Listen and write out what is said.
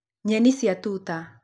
Nyeni cia tuta.